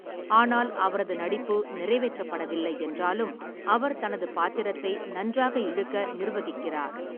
ஆனால் அவரது நடிப்பு நிறைவேற்றப்படவில்லை என்றாலும், அவர் தனது பாத்திரத்தை நன்றாக இழுக்க நிர்வகிக்கிறார்.